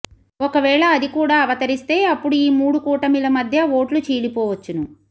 ఒకవేళ అదికూడా అవతరిస్తే అప్పుడు ఈ మూడు కూటమిల మధ్య ఓట్లు చీలిపోవచ్చును